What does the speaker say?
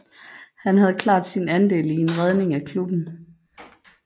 Han havde klart sin andel i en redning af klubben